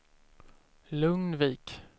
Lugnvik